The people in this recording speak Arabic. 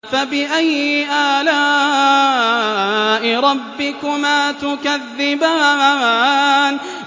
فَبِأَيِّ آلَاءِ رَبِّكُمَا تُكَذِّبَانِ